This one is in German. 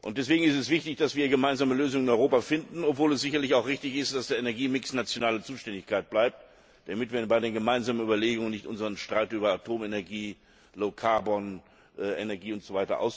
Deswegen ist es wichtig, dass wir in Europa gemeinsame Lösungen finden, obwohl es sicherlich auch richtig ist, dass der Energiemix nationale Zuständigkeit bleibt, damit wir bei den gemeinsamen Überlegungen nicht unseren Streit über Atomenergie, Energie usw.